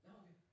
Nåh okay